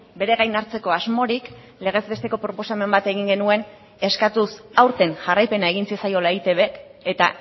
bere gain hartzeko asmorik legez besteko proposamen bat egin genuen eskatuz aurten jarraipena egin zitzaiola eitbk eta